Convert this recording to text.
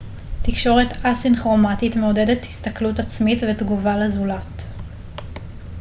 תקשורת א-סינכרומטית מעודדת הסתכלות עצמית ותגובה לזולת